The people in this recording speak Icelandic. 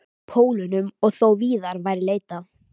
Pólunum og þó víðar væri leitað.